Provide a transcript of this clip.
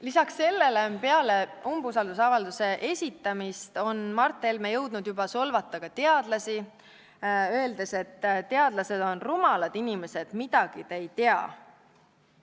Lisaks sellele on Mart Helme peale talle umbusaldusavalduse esitamist jõudnud juba solvata ka teadlasi, öeldes teadlaste kohta: "Rumalad inimesed, midagi te ei tea.